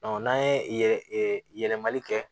n'an ye yɛlɛ yɛlɛmali kɛ